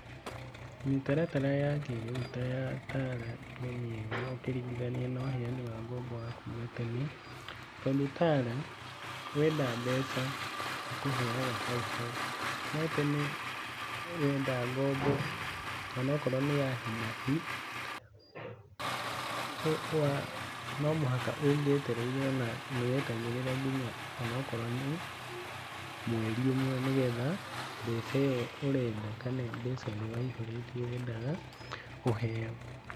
Mĩtaratara ya kĩrĩu ta ya Tala nĩ mĩega ũkĩringithania na ũheyani wa ngombo wa kuuma tene, tondũ Tala wenda mbeca ĩkũheyaga hauhau, no tene wenda ngombo onokorwo nĩ ya hinahi, o wa no mũhaka ũngĩetereire ona nĩ wetagĩrĩra nginya ona akorwo nĩ mweri ũmwe nĩgetha mbeca ĩyo ũrenda kana mbeca ũria waihũrĩtie wendaga ũheyo.